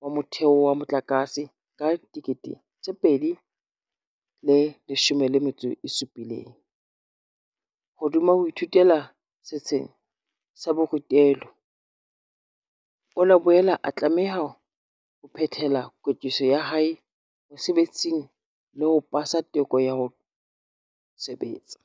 wa Motheo wa Motlakase ka 2017.Hodima ho ithutela setsheng sa borutelo, o la boela a tlameha ho phethela kwetliso ya hae mosebetsing le ho pasa teko ya ho sebetsa.